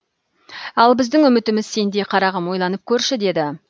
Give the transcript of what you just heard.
ал біздің үмітіміз сенде қарағым ойланып көрші деді